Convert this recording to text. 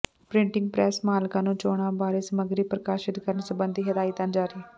printing press ਮਾਲਕਾਂ ਨੂੰ ਚੋਣਾਂ ਬਾਰੇ ਸਮਗਰੀ ਪ੍ਰਕਾਸ਼ਿਤ ਕਰਨ ਸਬੰਧੀ ਹਦਾਇਤਾਂ ਜਾਰੀ